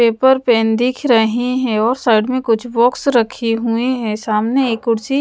paper pen दिख रहे हैं और साइड में कुछ बॉक्स रखी हुए हैं सामने एक कुर्सी--